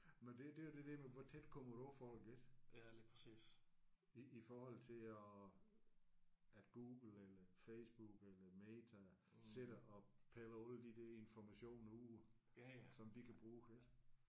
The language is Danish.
Men det det er jo det der med hvor tæt kommer du på folk ik i i forhold til at at Google eller Facebook eller Meta sidder og piller alle de der informationer ud som de kan bruge ik